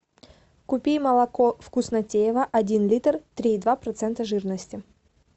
купи молоко вкуснотеево один литр три и два процента жирности